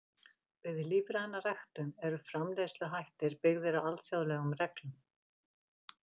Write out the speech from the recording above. Við lífræna ræktun eru framleiðsluhættir byggðir á alþjóðlegum reglum.